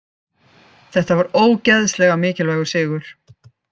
Þetta var ógeðslega mikilvægur sigur.